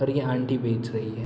और ये आंटी बेच रही है।